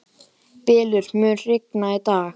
Bylur, mun rigna í dag?